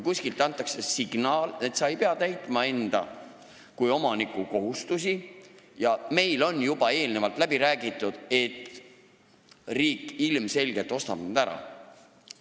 Kuskilt antakse signaal, et sa ei pea täitma enda kui omaniku kohustusi ja on juba eelnevalt läbi räägitud, et riik ilmselgelt ostab need korterid ära.